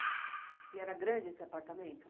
E era grande esse apartamento?